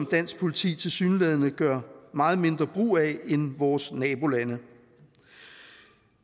dansk politi tilsyneladende gør meget mindre brug af end vores nabolande